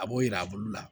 A b'o yira a bolo la